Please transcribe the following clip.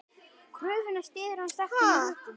Kröfuna styður hann sterkum rökum.